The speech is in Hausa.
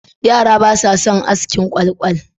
Yara basa son askin kwalkwal.